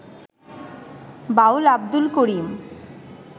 বাউল Abdul করিম